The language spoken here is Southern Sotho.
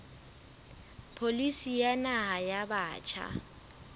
pholisi ya naha ya batjha